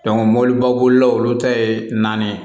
mɔbiliba bolilaw olu ta ye naani ye